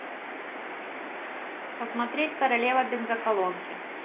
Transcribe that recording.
посмотреть королева бензоколонки